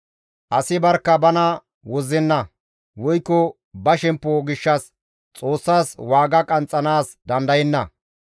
Asi barkka bana wozzenna; woykko ba shemppo gishshas Xoossas waaga qanxxanaas dandayenna.